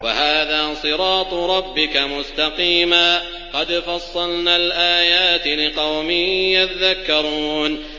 وَهَٰذَا صِرَاطُ رَبِّكَ مُسْتَقِيمًا ۗ قَدْ فَصَّلْنَا الْآيَاتِ لِقَوْمٍ يَذَّكَّرُونَ